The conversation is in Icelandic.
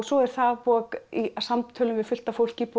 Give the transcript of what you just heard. svo er það í samtölum við fullt af fólki búið